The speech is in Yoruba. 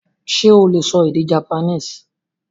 Sé o lè sọ Japanese?